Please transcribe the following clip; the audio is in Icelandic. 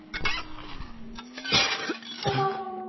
Því er til að svara að heili og mæna hrökkála eru umlukin fitulagi.